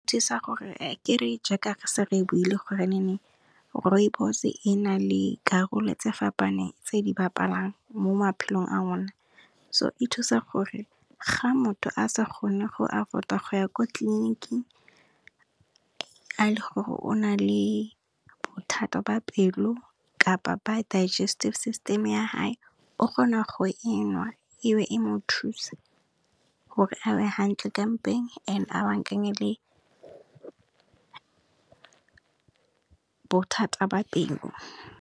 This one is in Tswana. Thusa gore, kere jaaka setse re buile gore Rooibos e na le karolo tse fapaneng tse di bapalang mo maphelong a rona so, e thusa gore ga motho a sa kgone go afford-a go ya ko tleliniking, fa e le gore o na le bothata ba pelo, kapa ba digestive system ya hae, o kgona go e nwa ebe e mo thusa gore a be hantle ka mpeng and e a baakanye le bothata ba pelo.